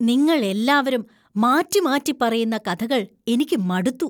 നിങ്ങൾ എല്ലാവരും മാറ്റിമാറ്റി പറയുന്ന കഥകൾ എനിക്ക് മടുത്തു.